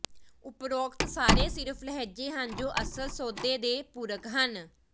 ਉਪਰੋਕਤ ਸਾਰੇ ਸਿਰਫ ਲਹਿਜ਼ੇ ਹਨ ਜੋ ਅਸਲ ਸੌਦੇ ਦੇ ਪੂਰਕ ਹਨ